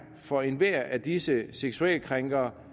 for enhver af disse seksuelle krænkere